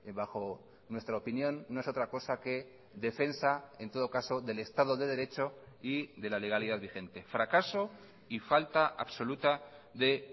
bajo nuestra opinión no es otra cosa que defensa en todo caso del estado de derecho y de la legalidad vigente fracaso y falta absoluta de